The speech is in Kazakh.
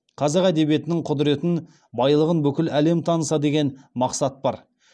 қазақ әдебиетінің құдыретін байлығын бүкіл әлем таныса деген мақсат бар